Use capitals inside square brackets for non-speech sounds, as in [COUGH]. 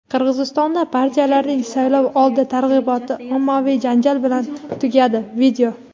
Qirg‘izistonda partiyalarning saylovoldi targ‘iboti ommaviy janjal bilan tugadi. [VIDEO]